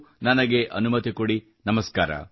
ಅಲ್ಲಿಯವರೆಗೂ ನನಗೆ ಅನುಮತಿ ಕೊಡಿ